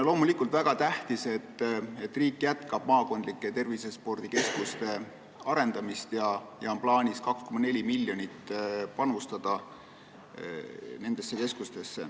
Loomulikult on see väga tähtis, et riik jätkab maakondlike tervisespordikeskuste arendamist ja nendesse keskustesse on plaanis panustada 2,4 miljonit.